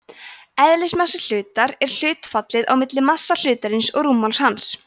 eðlismassi hlutar er hlutfallið á milli massa hlutarins og rúmmáls hans